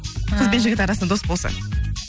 ы қыз бен жігіт арасында дос болса